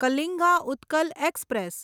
Kalinga Utkal express